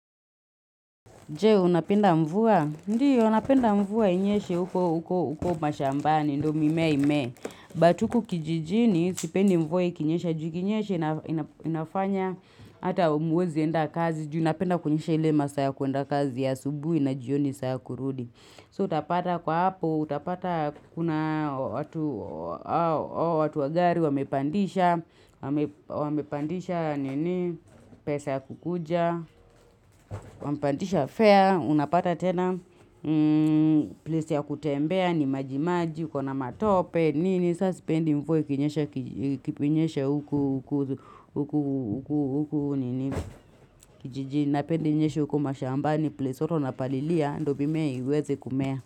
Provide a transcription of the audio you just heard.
Je, unapenda mvua? Ndio, napenda mvua inyeshe uko, uko, uko mashambani, ndo mimea imee. Batuku kijijini, sipendi mvua ikinyesha, ju ikinyeshe, ina ina inafanya, ata aumwezi enda kazi, juu inapenda kunyesha ile masaa ya kuenda kazi ya subuhi na jioni saa ya kurudi. So utapata kwa hapo, utapata kuna watu, watu wa gari, wamepandisha, wamepandisha, nini, pesa ya kukuja, wamepandisha fair, unapata tena place ya kutembea ni majimaji, ukona matope nini, sasipendi mvua ikinyesha kij kipinyesha huku huku huku huku nini kijijini napenda inyeshe huku mashamba ni place watu wanapalilia ndo vimea iweze kumea.